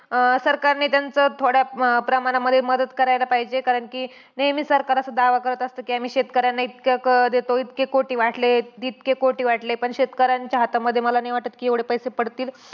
अं सरकारने त्यांचं थोड्या अं प्रमाणामध्ये मदत करायला पाहिजे. कारण कि नेहमी सरकार असं दावा करत असंत, कि आम्ही शेतकऱ्यांना इतकं देतो इतके कोटी वाटले, तितके कोटी वाटले. पण शेतकऱ्यांच्या हातामध्ये मला नाही वाटतं कि एवढे पैसे पडतील.